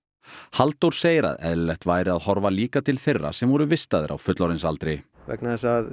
Halldór segir að eðlilegt væri að horfa líka til þeirra sem voru vistaðir á fullorðinsaldri vegna þess að